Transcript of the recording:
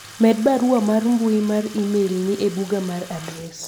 med barua mar mbui mar email ni e buga mar adres